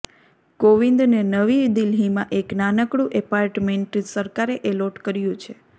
કોવિંદને નવી દિલ્હીમાં એક નાનકડું એપાર્ટમેન્ટ સરકારે એલોટ કર્યું છે